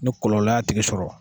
Ni kɔlɔlɔ y'a tigi sɔrɔ.